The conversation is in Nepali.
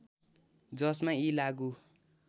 जसमा यी लागू